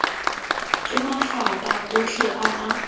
ke mafapha otlhe a a